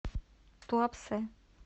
туапсе